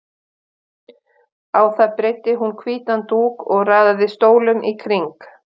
Á það breiddi hún hvítan dúk og raðaði stólum í kring.